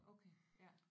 Okay ja